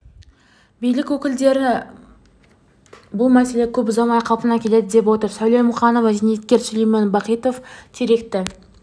билік өкілдері бұл мәселе көп ұзамай қалпына келеді деп отыр сәуле мұқанова зейнеткер сүлеймен бахитов теректі